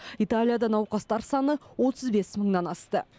италияда науқастар саны отыз бес мыңнан асты